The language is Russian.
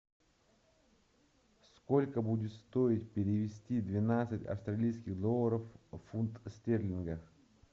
сколько будет стоить перевести двенадцать австралийских долларов в фунт стерлинга